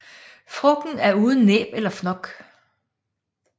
Frugten er uden næb eller fnok